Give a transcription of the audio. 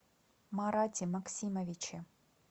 марате максимовиче